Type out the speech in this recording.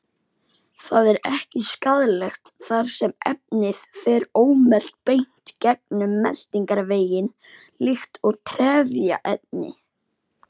Það er ekki skaðlegt þar sem efnið fer ómelt beint gegnum meltingarveginn líkt og trefjaefni.